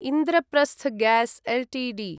Indraprastha gas Ltd